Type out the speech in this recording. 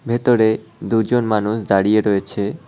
ভেতরে দুজন মানুষ দাঁড়িয়ে রয়েছে।